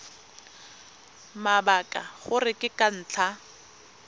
mabaka gore ke ka ntlha